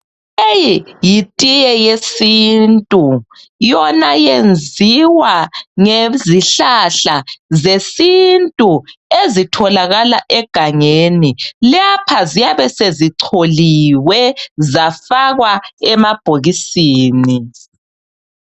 Leyi yitiye yesintu yona yenziwa ngezihlahla zesintu ezitholakala egangeni lapha ziyabe sezicholiwe zafakwa emabhokisini